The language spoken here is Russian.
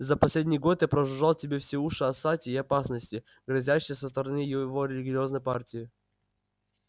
за последний год я прожужжал тебе все уши о сатте и опасности грозящей со стороны его религиозной партии